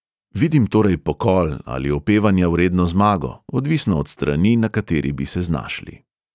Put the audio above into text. Vidim torej pokol ali opevanja vredno zmago, odvisno od strani, na kateri bi se znašli.